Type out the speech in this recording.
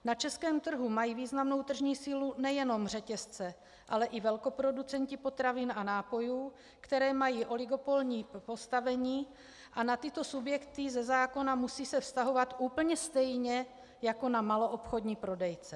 Na českém trhu mají významnou tržní sílu nejenom řetězce, ale i velkoproducenti potravin a nápojů, kteří mají oligopolní postavení, a na tyto subjekty ze zákona musí se vztahovat úplně stejně jako na maloobchodní prodejce.